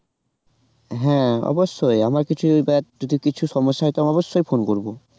হ্যাঁ অবশ্যই আবার কিছু যদি দেখ যদি কিছু সমস্যা হয় তো অবশ্যই phone করবো